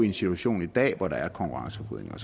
en situation i dag hvor der er konkurrenceforvridning